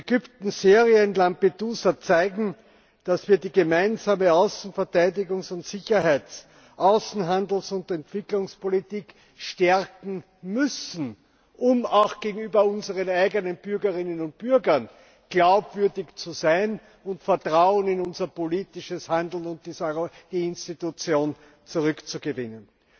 Ägypten, Syrien, Lampedusa zeigen, dass wir die Gemeinsame Außen Verteidigungs Sicherheits Außenhandels und Entwicklungspolitik stärken müssen, um auch gegenüber unseren eigenen Bürgerinnen und Bürgern glaubwürdig zu sein und Vertrauen in unser politisches Handeln und in die Institution zurückzugewinnen.